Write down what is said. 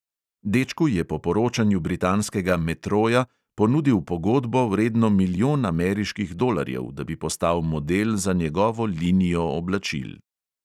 Dečku je po poročanju britanskega metroja ponudil pogodbo, vredno milijon ameriških dolarjev, da bi postal model za njegovo linijo oblačil.